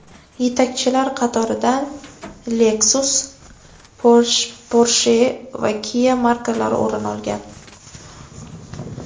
Yetakchilar qatoridan Lexus, Porsche va Kia markalari o‘rin olgan.